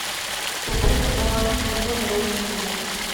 пополнить баланс телефона родственнику